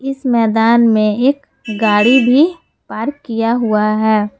मैदान में एक गाड़ी भी पार्क किया हुआ है।